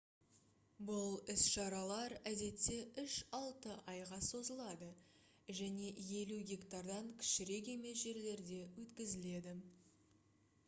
бұл іс-шаралар әдетте үш-алты айға созылады және 50 гектардан кішірек емес жерлерде өткізіледі